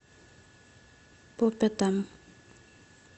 по пятам